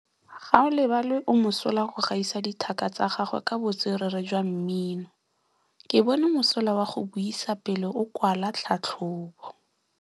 Gaolebalwe o mosola go gaisa dithaka tsa gagwe ka botswerere jwa mmino. Ke bone mosola wa go buisa pele o kwala tlhatlhobô.